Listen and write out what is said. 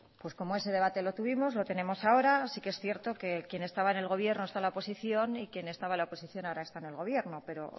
pues como ese debate lo tuvimos lo tenemos ahora sí que es cierto que quien estaba en el gobierno está en la oposición y quien estaba en la oposición ahora está en el gobierno pero